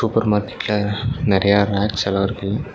ஒரு மார்க்கெட்ல நெறையா ரேக்ஸ்ஸெல்லா இருக்கு.